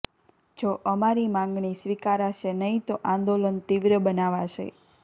જો અમારી માંગણી સ્વીકારાશે નહીં તો આંદોલન તીવ્ર બનાવાશે